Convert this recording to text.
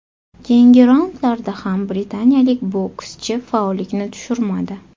Keyingi raundlarda ham britaniyalik bokschi faollikni tushirmadi.